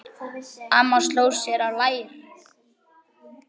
Amma sló sér á lær.